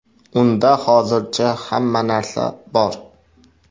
Unda hozircha hamma narsa bor.